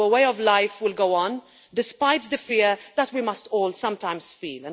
Our way of life will go on despite the fear that we must all sometimes feel.